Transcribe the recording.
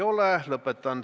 Ärge arvustage palun eksperte!